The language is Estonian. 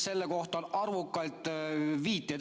Selle kohta on arvukalt viiteid.